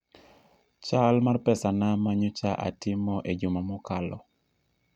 chal mar pesana ma nyocha atimo e juma mokalo